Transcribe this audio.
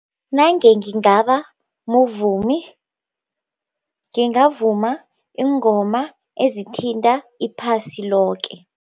Nange ngingabamvumi ngingavuma iingoma ezithinta iphasi loke.